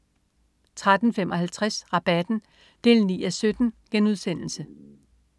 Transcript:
13.55 Rabatten 9:17*